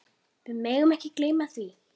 Við megum ekki gleyma því.